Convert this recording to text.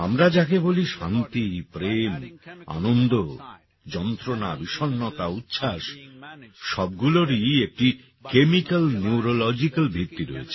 আমরা যাকে বলি শান্তি প্রেম আনন্দ যন্ত্রণা বিষণ্নতা উচ্ছ্বাস সবগুলোরই একটি কেমিক্যাল নিউরোলজিক্যাল ভিত্তি রয়েছে